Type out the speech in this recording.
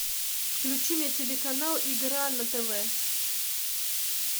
включи мне телеканал игра на тв